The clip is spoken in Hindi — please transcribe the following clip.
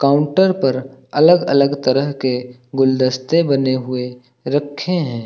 काउंटर पर अलग अलग तरह के गुलदस्ते बने हुए रखे हैं।